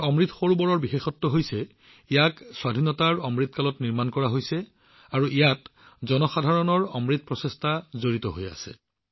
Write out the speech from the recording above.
আমাৰ অমৃত সৰোবৰ এই কাৰণেই বিশেষ কিয়নো সেইবোৰ আজাদী কা অমৃত কালত নিৰ্মাণ কৰা হৈছে আৰু সেইবোৰত জনসাধাৰণৰ প্ৰচেষ্টাৰ সুবাসেৰে সুবাসিত হৈছে